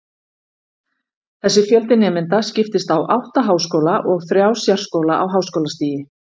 Þessi fjöldi nemenda skiptist á átta háskóla og þrjá sérskóla á háskólastigi.